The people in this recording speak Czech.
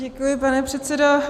Děkuji, pane předsedo.